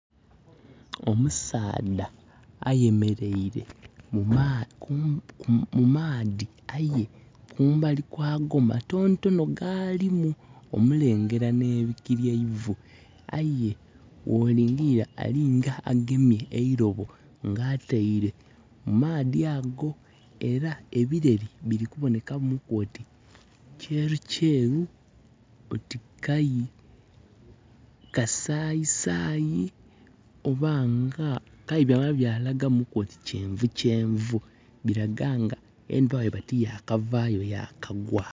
Omusaadha ayemeleire mu maadhi aye kumbali kwago matonotono gaalimu, omulengera ebigere bye eifo. Aye bwolingirira alinga agemye eilobo nga ataile, mu maadhi ago. Era ebireri bili kubonekamuku oti kyerukyeru, oti kayi kasaayi saayi, oba nga, kale byamala byalagamuku oti kyenvu kyenvu. Bilaga nga endhuba bweba tiyakavaayo, yakagwa.